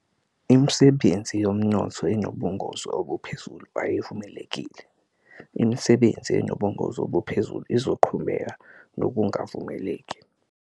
Imisebenzi yomnotho enobungozi obuphezulu ayivumelekile. Imisebenzi enobungozi obuphezulu izoqhubeka nokungavumeleki.